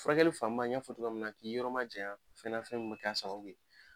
Furakɛli fanba n y'a fɔ togoya min na k'i yɔrɔma jaɲa fɛn na fɛn min bɛ k'a sababu ye.